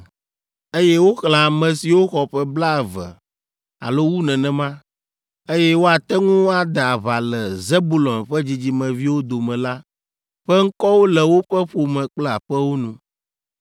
Eye woxlẽ ame siwo xɔ ƒe blaeve alo wu nenema, eye woate ŋu ade aʋa le Zebulon ƒe dzidzimeviwo dome la ƒe ŋkɔwo le woƒe ƒome kple aƒewo nu.